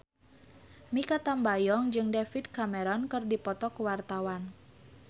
Mikha Tambayong jeung David Cameron keur dipoto ku wartawan